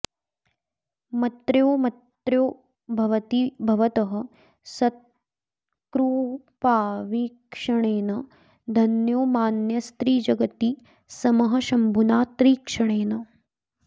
मत्र्योऽमत्र्यो भवति भवतः सत्कृपावीक्षणेन धन्यो मान्यस्त्रिजगति समः शम्भुना त्रीक्षणेन